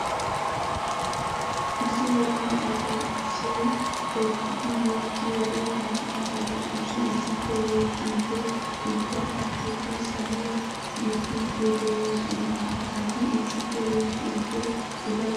Issi yelaga asay issoy eqqidi yexxiyode hara asati qassi issippe yexxidde ubba qassikka saluwa guppidde de'osona. Ha asati issippe yexxidde ufayttosona.